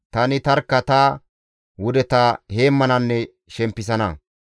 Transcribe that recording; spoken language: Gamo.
Tani tarkka ta wudeta heemmananne shempisana.